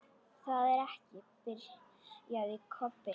Það er ekki. byrjaði Kobbi.